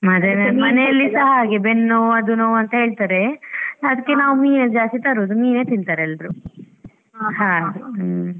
ಮತ್ತೆ ಮನೇಲಿಸಾ ಹಾಗೆ ಬೆನ್ ನೋವ್ ಅದು ನೋವ್ ಅಂತ ಹೇಳ್ತಾರೆ ಅದ್ಕೆ ನಾವ್ ಮೀನೇ ಜಾಸ್ತಿ ತರೋದು, ಮೀನೇ ತಿಂತಾರೆ ಎಲ್ರು ಹಾಗೆ ಹ್ಮ್‌.